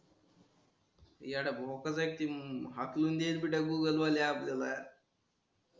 एडया भोकाच आहेत की हाकलुन दिल मिटल गुगलवाले आपल्याला.